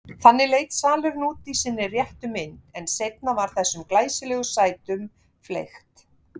Þannig leit salurinn út í sinni réttu mynd, en seinna var þessum glæsilegu sætum fleygt.